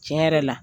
Tiɲɛ yɛrɛ la